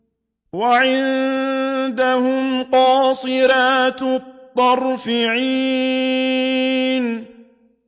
وَعِندَهُمْ قَاصِرَاتُ الطَّرْفِ عِينٌ